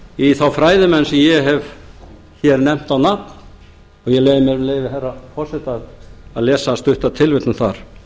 í þá fræðimenn sem ég hef nefnt á nafn og ég leyfi mér með leyfi herra forseta að lesa stutta tilvitnun þar